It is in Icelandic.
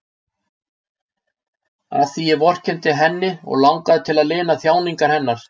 Af því ég vorkenndi henni og langaði til að lina þjáningar hennar.